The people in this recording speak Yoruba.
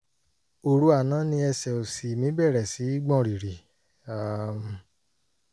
oru àná ni ẹsẹ̀ òsì mi bẹ̀rẹ̀ sí gbọ̀n rìrì um